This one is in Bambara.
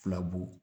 Filabugu